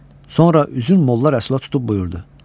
Sonra üzün molla Rəssula tutub buyurdu: